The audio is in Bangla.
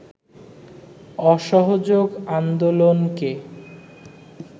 অসহযোগ আন্দোলনকে